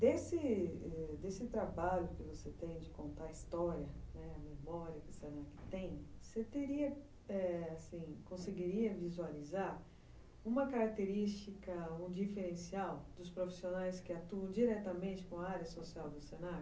Desse... trabalho que você tem de contar a história, a memória que o se na que tem, você conseguiria visualizar uma característica, um diferencial dos profissionais que atuam diretamente com a área social do se?